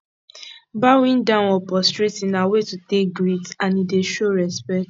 bowing down or prostrating na way to take greet and e dey show respect